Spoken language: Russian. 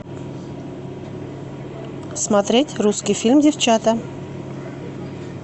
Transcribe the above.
смотреть русский фильм девчата